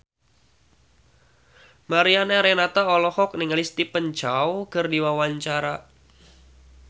Mariana Renata olohok ningali Stephen Chow keur diwawancara